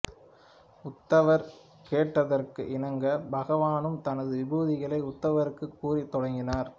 உத்தவர் கேட்டதற்கு இணங்க பகவானும் தனது விபூதிகளை உத்தவருக்கு கூறத் தொடங்கினார்